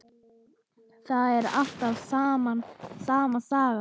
Þetta er alltaf sama sagan.